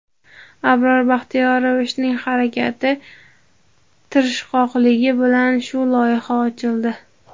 Abror Baxtiyorovichning harakati, tirishqoqligi bilan shu loyiha ochildi.